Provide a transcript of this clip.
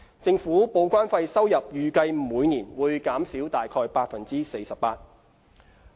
政府報關費收入預計每年會減少約 48%。